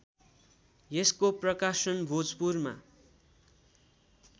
यसको प्रकाशन भोजपुरमा